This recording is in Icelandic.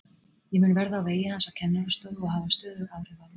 Ég mun verða á vegi hans á kennarastofu og hafa stöðug áhrif á hann.